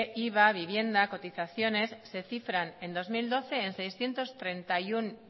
iva vivienda cotizaciones se cifran en dos mil doce en seiscientos treinta y uno